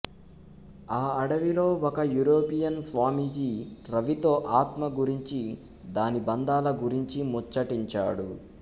ఆ అడవిలో ఒక యూరోపియన్ స్వామీజీ రవితో ఆత్మ గురించీ దాని బంధాల గురించీ ముచ్చటించాడు